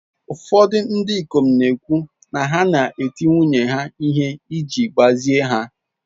Ụfọdụ ndị ikom na-ekwu na ha na-eti nwunye ha ihe iji gbazie ha.